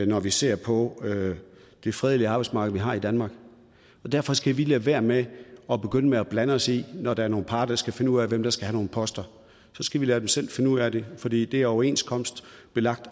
når vi ser på det fredelige arbejdsmarked vi har i danmark derfor skal vi lade være med at begynde at blande os i når der er nogle parter der skal finde ud af hvem der skal have nogle poster så skal vi lade dem selv finde ud af det fordi det er overenskomstbelagt